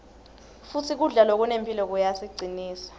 futsi kudla lokunemphilo kuyasicinsa